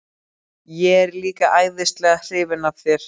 Ég er líka æðislega hrifin af þér.